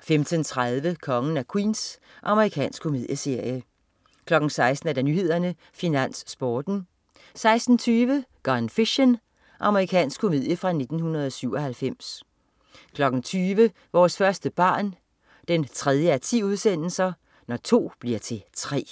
15.30 Kongen af Queens. Amerikansk komedieserie 16.00 Nyhederne, Finans, Sporten 16.20 Gone Fishin'. Amerikansk komedie fra 1997 20.00 Vores første barn 3:10. Når to bliver til tre